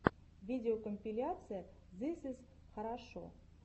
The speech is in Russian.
видеокомпиляция зыс из хорошо